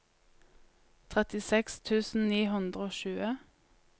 trettiseks tusen ni hundre og tjue